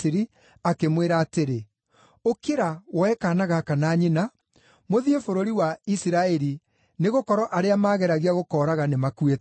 akĩmwĩra atĩrĩ, “Ũkĩra, woe kaana gaka na nyina, mũthiĩ bũrũri wa Isiraeli, nĩgũkorwo arĩa maageragia gũkooraga nĩmakuĩte.”